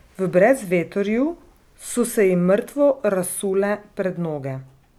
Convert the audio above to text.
V brezvetrju so se ji mrtvo razsule pred noge.